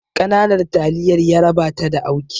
Ƙananan taliyar yaraba ta da auki